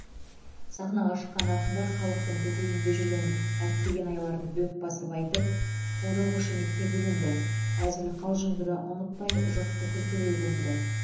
сахнаға шыққан ақындар халықтың көкейінде жүрген әттеген айларды дөп басып айтып қолдау қошеметке бөленді әзіл қалжыңды да ұмытпай жұртты күлкіге көмді